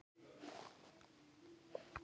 Og af hverju fyllsta aðgát?